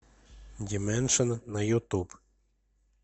димэншн на ютуб